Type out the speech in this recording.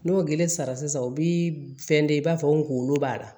N'o gele sara u bi fɛn kɛ i b'a fɔ n kunkolo b'a la